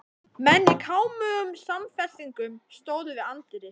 Menn í kámugum samfestingum stóðu við anddyri.